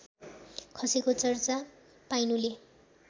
खसेको चर्चा पाइनुले